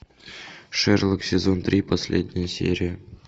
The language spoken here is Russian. шерлок сезон три последняя серия